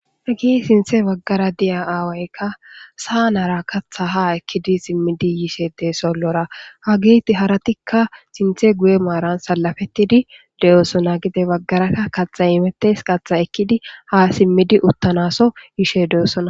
Hagey sinthe baggara diza aawaykka saa naara katha ha ekkidi simmidi yishe sollora ha giti haratikka sinthe guye maaran salafettidi de7oosona gite baggaraka kaxa imettes qatxha ekkidi ha simmidi uttanaso yishe de7ossona